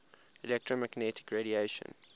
electromagnetic radiation